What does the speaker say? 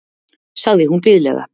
sagði hún blíðlega.